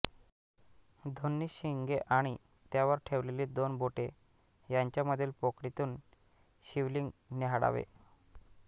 दोन्ही शिंगे आणि त्यांवर ठेवलेली दोन बोटे यांच्यामधील पोकळीतून शिवलिंग न्याहाळावे